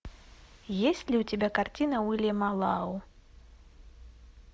есть ли у тебя картина уильяма лау